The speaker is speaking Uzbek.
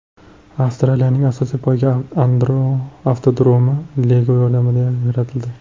Avstraliyaning asosiy poyga avtodromi Lego yordamida yaratildi .